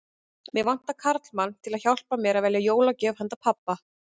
Mig vantar karlmann til að hjálpa mér að velja jólagjöf handa pabba